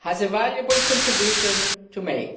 has a valuable contribution to make